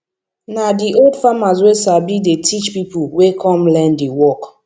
na di old farmers wey sabi dey teach pipo wey come learn di work